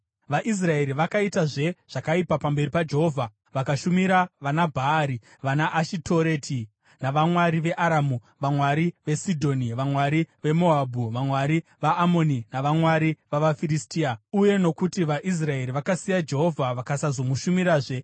VaIsraeri vakaitazve zvakaipa pamberi paJehovha. Vakashumira vanaBhaari, vanaAshitoreti, navamwari veAramu, vamwari veSidhoni, vamwari veMoabhu, vamwari vavaAmoni navamwari vavaFiristia. Uye nokuti vaIsraeri vakasiya Jehovha vakasazomushumirazve,